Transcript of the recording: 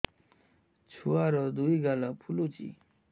ଛୁଆର୍ ଦୁଇ ଗାଲ ଫୁଲିଚି